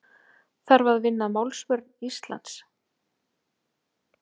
Þarf að vinna að málsvörn Íslands